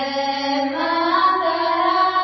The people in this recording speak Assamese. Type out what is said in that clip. ভকেল ভাণ্ডে মাত্ৰাম